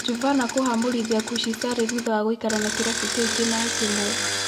Juvana kũhamũrithia kũshi Sarĩ thutha wa gũikara na kĩrabu kĩu kĩmera kĩmwe.